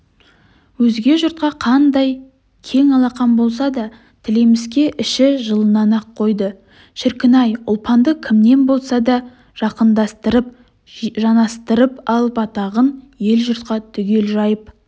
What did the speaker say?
өзге жұртқа қандай кең алақан болса да тілеміске іші жылынан ақ қойды шіркін-ай ұлпанды кіммен болса да жақындастырып-жанастырып алып атағын ел-жұртқа түгел жайып